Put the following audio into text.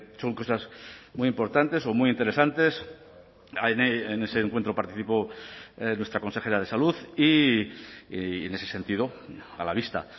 son cosas muy importantes o muy interesantes en ese encuentro participó nuestra consejera de salud y en ese sentido a la vista